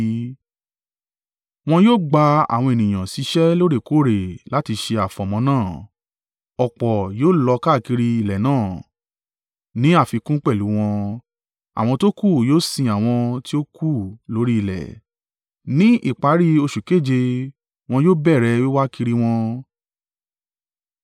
“ ‘Wọn yóò gbà àwọn ènìyàn ṣiṣẹ́ lóòrèkóòrè láti ṣe àfọ̀mọ́ náà. Ọ̀pọ̀ yóò lọ káàkiri ilẹ̀ náà, ní àfikún pẹ̀lú wọn, àwọn tókù yóò sìn àwọn tí ó kú lórí ilẹ̀. Ní ìparí oṣù keje wọn yóò bẹ̀rẹ̀ wíwá kiri wọn.